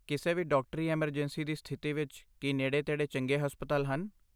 ਕਿਸੇ ਵੀ ਡਾਕਟਰੀ ਐੱਮਰਜੈਂਸੀ ਦੀ ਸਥਿਤੀ ਵਿੱਚ, ਕੀ ਨੇੜੇ ਤੇੜੇ ਚੰਗੇ ਹਸਪਤਾਲ ਹਨ?